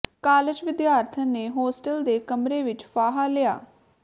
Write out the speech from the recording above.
college ਵਿਦਿਆਰਥਣ ਨੇ hostel ਦੇ ਕਮਰੇ ਵਿੱਚ ਫਾਹਾ ਲਿਆ